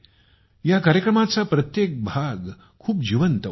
या कार्यक्रमाचा प्रत्येक भाग खूप सजीव असतो